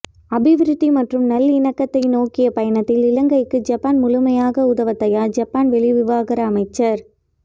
அபிவிருத்தி மற்றும் நல்லிணக்கத்தை நோக்கிய பயணத்தில் இலங்கைக்கு ஜப்பான் முழுமையாக உதவ தயார் ஜப்பான் வெளிவிவகார அமைச்சர்